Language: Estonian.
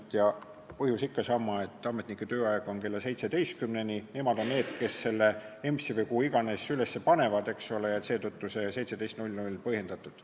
Muudatuse põhjus on ikka sama: ametnike tööaeg kestab kella 17-ni ja nemad on need, kes need dokumendid EMS-i või kuhu iganes üles panevad, eks ole, ja seetõttu on see 17.00 seal põhjendatud.